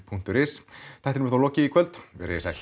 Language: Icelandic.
punktur is þættinum er þá lokið í kvöld verið þið sæl